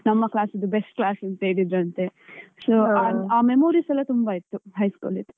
ನಮ್ಮ class best class ಅಂತ ಹೇಳಿದ್ರಂತೆ. So ಆ memories ಎಲ್ಲ ತುಂಬಾ ಇತ್ತು high school ಇದ್ದು.